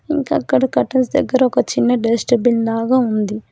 ఇంకా అక్కడ కర్టన్స్ దగ్గర ఒక చిన్న డస్ట్ బిన్ లాగా ఉంది.